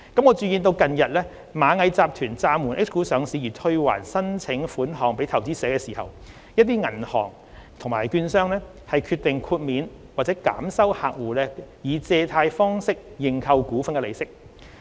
我注意到近日螞蟻集團暫緩 H 股上市而退還申請款項予投資者時，一些銀行及券商決定豁免或減收客戶以借貸方式認購股份的利息。